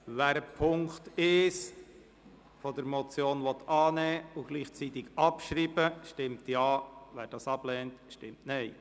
Wer den Punkt 1 der Motion annehmen und gleichzeitig abschreiben will, stimmt Ja, wer dies ablehnt, stimmt Nein.